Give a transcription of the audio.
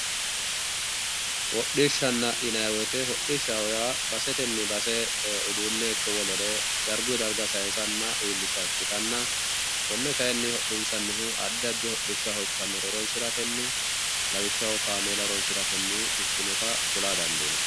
hodhishshanna yinayiwote hodhishanna yaa baseten base uduunne ikko wolere darguyi darga saayiisanna iilisha ikkitanna kone kayinni hodhinsanihu addi addi hodhishshaho ikkannore horonsiratenni lawishaho kaamela horonsiratenni ikkinota kula dadiinayi